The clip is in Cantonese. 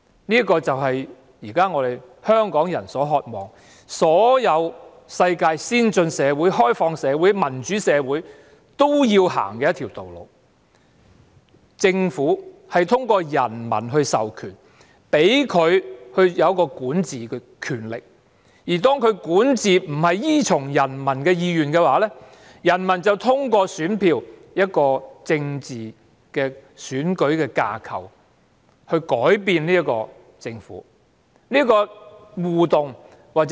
香港人現時所渴望的，是世上所有先進、開放而民主的社會皆會走的路——政府通過人民授權，賦予管治權力，而當政府的管治並不依從人民意願，人民便可通過選票，在選舉的政治架構下改變政府。